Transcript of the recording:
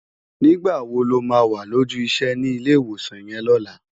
Nigbá wó ló má wá lójù isè ni Ilé Iwósán yèn lòlá?